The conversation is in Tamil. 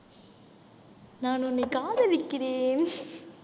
நான் உன்னை காதலிக்கிறேன்